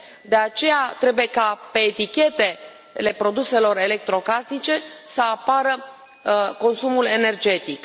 De aceea trebuie ca pe etichetele produselor electrocasnice să apară consumul energetic.